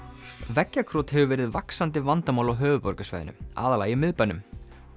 veggjakrot hefur verið vaxandi vandamál á höfuðborgarsvæðinu aðallega í miðbænum